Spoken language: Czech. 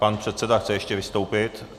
Pan předseda chce ještě vystoupit.